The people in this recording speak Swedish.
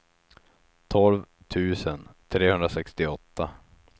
tolv tusen trehundrasextioåtta